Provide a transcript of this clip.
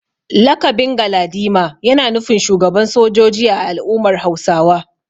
Lakabin Galadima yana nufin shugaban sojoji a al’ummar Hausawa.